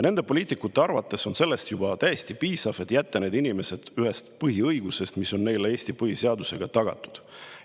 Nende poliitikute arvates sellest juba täiesti piisab, et jätta need inimesed ilma ühest põhiõigusest, mis on neile Eesti põhiseadusega tagatud.